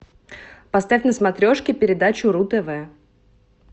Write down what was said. поставь на смотрешке передачу ру тв